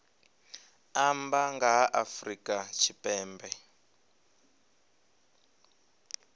amba nga ha afrika tshipembe